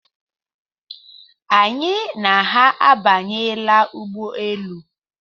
Anyị na ha abanyela ụgbọelu.